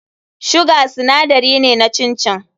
Sugar sinadari ne na chin chin.